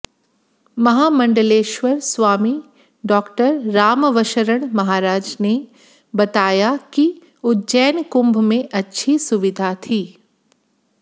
महामण्डलेश्वर Swami Dr Raghavsharan Maharaj ने बताया कि उज्जैन कुंभ में अच्छी सुविधा थी